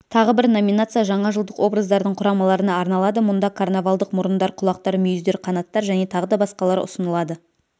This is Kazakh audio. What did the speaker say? тағы бір номинация жаңа жылдық образдардың құрамаларына арналады мұнда карнавалдық мұрындар құлақтар мүйіздер қанаттар және тағы да басқалары ұсынылады